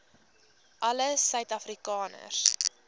alle suid afrikaners